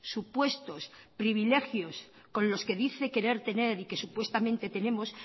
supuestos privilegios con los que dice querer tener y que supuestamente tenemos